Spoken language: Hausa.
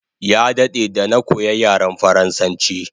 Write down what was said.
Ya dade da na koya yaren faransanchi